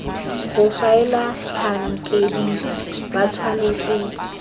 go faela batlhankedi ba tshwanetse